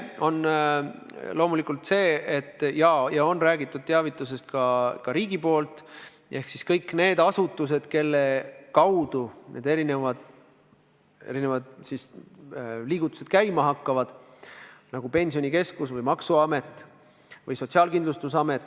Loomulikult on räägitud teavitusest ka riigi poolt, mida peavad tegema kõik need asutused, kelle kaudu need erinevad liigutused käima hakkavad, nagu Pensionikeskus, maksuamet ja Sotsiaalkindlustusamet.